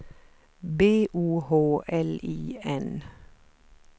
B O H L I N